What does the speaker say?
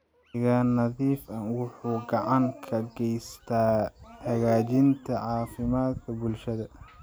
Deegaan nadiif ah wuxuu gacan ka geystaa hagaajinta caafimaadka bulshada.